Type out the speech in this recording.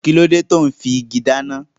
Kíló dé tò ún fi igi dáná?